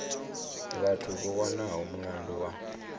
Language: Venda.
vhathu vho wanwaho mulandu wa